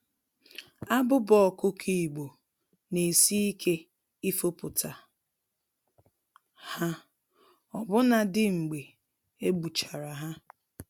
Abụba ọkụkọ Igbo, n'esi ike ifopụta ha, ọbụna dị mgbe egbuchara ha.